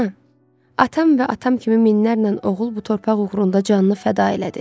Ana, atam və atam kimi minlərlə oğul bu torpaq uğrunda canını fəda elədi.